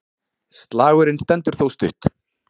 Slagurinn stendur þó stutt.